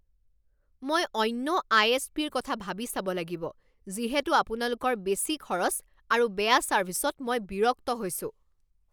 মই অন্য I S পিৰ কথা ভাবি চাব লাগিব যিহেতু আপোনালোকৰ বেছি খৰচ আৰু বেয়া ছাৰ্ভিচত মই বিৰক্ত হৈছোঁ।